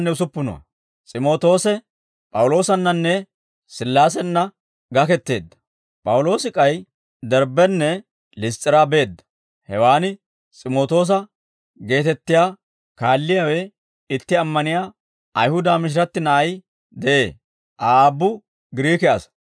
P'awuloosi k'ay Derbbenne Liss's'iraa beedda; hewaan S'imootoosa geetettiyaa kaalliyaawe, itti ammaniyaa Ayihuda mishiratti na'ay de'ee; Aa aabbu Giriike asaa.